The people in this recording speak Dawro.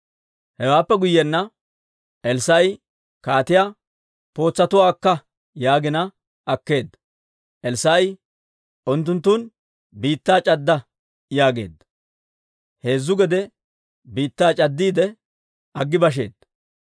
Hewaappe guyyiyaan Elssaa'i kaatiyaa, «Pootsatuwaa akka» yaagina akkeedda. Elssaa'i, «Unttunttun biittaa c'adda» yaageedda. Heezzu gede biittaa c'addiide aggi basheedda.